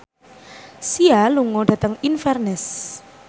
Sia lunga dhateng Inverness